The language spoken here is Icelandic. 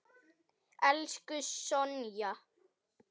Elsku Sonja.